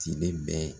Tile bɛ